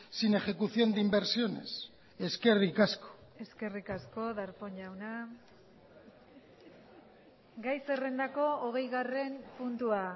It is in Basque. sin ejecución de inversiones eskerrik asko eskerrik asko darpón jauna gai zerrendako hogeigarren puntua